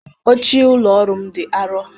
Oche ụlọ ọrụ m dị arọ